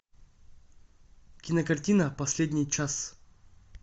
кинокартина последний час